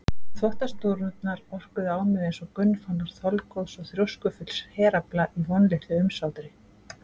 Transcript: Þvottasnúrurnar orkuðu á mig einsog gunnfánar þolgóðs og þrjóskufulls herafla í vonlitlu umsátri.